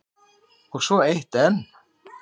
Og svo er eitt enn.